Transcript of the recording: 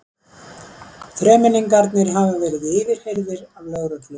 Þremenningarnir hafa verið yfirheyrðir af lögreglu